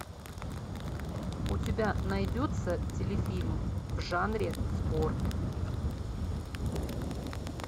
у тебя найдется телефильм в жанре спорт